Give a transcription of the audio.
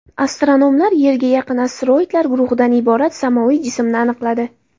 Astronomlar Yerga yaqin asteroidlar guruhidan iborat samoviy jismni aniqladi.